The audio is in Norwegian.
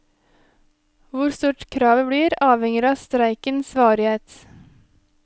Hvor stort kravet blir, avhenger av streikens varighet.